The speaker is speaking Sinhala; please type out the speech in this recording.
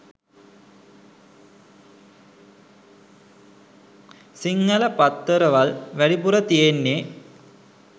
සිංහල පත්තරවල් වැඩිපුර තියෙන්නේ